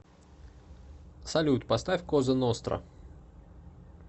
салют поставь коза ностра